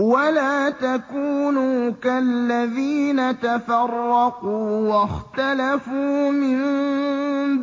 وَلَا تَكُونُوا كَالَّذِينَ تَفَرَّقُوا وَاخْتَلَفُوا مِن